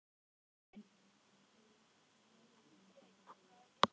Þeim var meinilla við að rjúfa bannhelgi